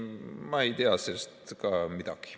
Ma ei tea sellest ka midagi.